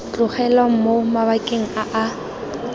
tlogelwang mo mabakeng a a